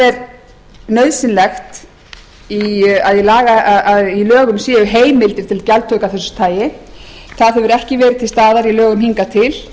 bera nauðsynlegt er að í lögum séu heimildir til gjaldtöku af þessu tagi slíkt hefur ekki verið til staðar í lögum hingað til